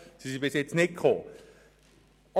Dies haben sie bisher nicht getan.